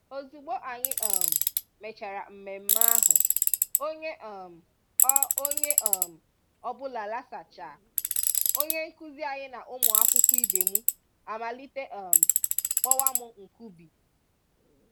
Ozugbo anyị um mechara mmemme ahụ, onye um ọ onye um ọ bụla lasachaa, onye nkụzi anyị na ụmụ akwụkwọ ibe m amalite um kpọwa m 'Nkubi'.